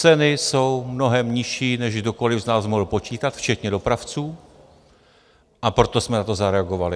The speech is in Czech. Ceny jsou mnohem nižší, než kdokoli z nás mohl počítat včetně dopravců, a proto jsme na to zareagovali.